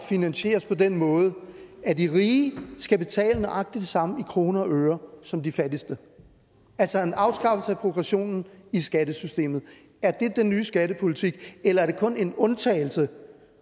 finansieres på den måde at de rige skal betale nøjagtig det samme i kroner og øre som de fattigste altså en afskaffelse af progressionen i skattesystemet er det den nye skattepolitik eller er det kun en undtagelse